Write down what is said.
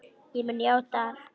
Ég mun játa allt.